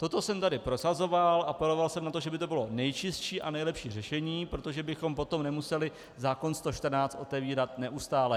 Toto jsem tady prosazoval, apeloval jsem na to, že by to bylo nejčistší a nejlepší řešení, protože bychom potom nemuseli zákon 114 otevírat neustále.